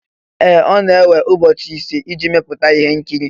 Ee! Ọ na-ewe ụbọchị ise iji mepụta ihe nkiri